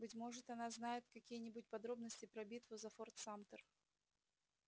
быть может она знает какие-нибудь подробности про битву за форт самтер